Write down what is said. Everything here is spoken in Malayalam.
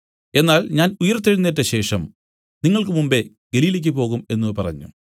എന്നാൽ ഞാൻ ഉയിർത്തെഴുന്നേറ്റശേഷം നിങ്ങൾക്ക് മുമ്പെ ഗലീലയ്ക്കു് പോകും എന്നു പറഞ്ഞു